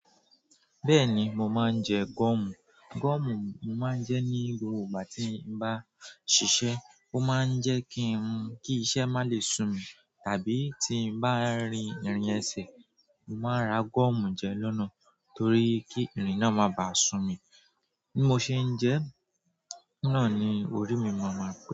Bẹ́ẹ̀ni, mo máa ń jẹ gọ́ọ̀mù. Gọ́ọ̀mù mo máa ń jẹ ní gbogbo ìgbà tí n bá ṣiṣẹ́. O maa n je ki iṣẹ́ ma le su mi tàbí tí n bá rin ìrìn ẹsẹ̀, mo máa ra gọ́ọ̀mù jẹ lọ́nà torí kí irin náà má bàá sun mi. Bí mo ṣe ń jẹ ẹ́ náà ni orí mi máa ma pe.